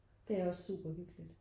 Det er også super hyggeligt